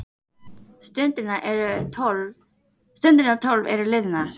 Stundirnar tólf eru liðnar.